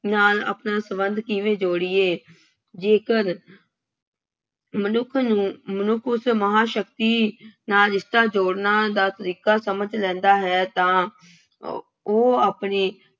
ਨਾਲ ਆਪਣਾ ਸੰਬੰਧ ਕਿਵੇਂ ਜੋੜੀਏ। ਜੇਕਰ ਮਨੁੱਖ ਨੂੰ ਮਨੁੱਖ ਉਸ ਮਹਾਂਸ਼ਕਤੀ ਨਾਲ ਰਿਸ਼ਤਾ ਜੋੜਨਾ ਦਾ ਤਰੀਕਾ ਸਮਝ ਲੈਂਦਾ ਹੈ ਤਾਂ ਉਹ ਆਪਣੇ